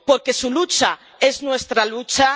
Porque su lucha es nuestra lucha.